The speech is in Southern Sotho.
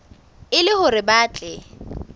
e le hore ba tle